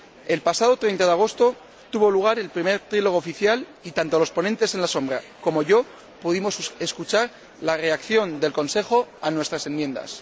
El pasado 30 de agosto tuvo lugar el primer trílogo oficial, y tanto los ponentes en la sombra como quien les habla pudimos escuchar la reacción del Consejo a nuestras enmiendas.